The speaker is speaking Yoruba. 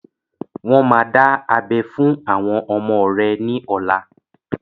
Wọn má dá abẹ fún àwọn ọmọ rẹ ni ọ̀la.